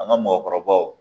An ka mɔgɔkɔrɔbaw